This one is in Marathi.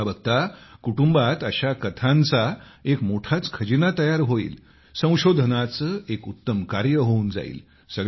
बघताबघता कुटुंबात अशा कथांचा एक मोठाच खजिना तयार होईल संशोधनाचे एक उत्तम कार्य होऊन जाईल